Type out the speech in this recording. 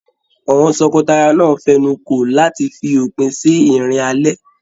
Àwọn tọkọtaya náà fẹnuko láti fi òpin sí ìrìn alẹ́.